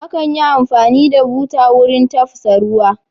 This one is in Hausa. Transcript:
Akan yi amfani da buta wurin tafsa ruwa.